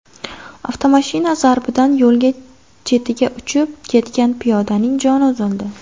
Avtomashina zarbidan yo‘l chetiga uchib ketgan piyodaning joni uzildi.